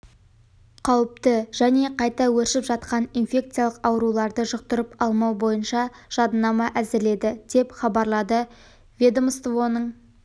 қауіпті және қайта өршіп жатқан инфекциялық ауруларды жұқтырып алмау бойынша жадынама әзірледі деп хабарлады ведомствоның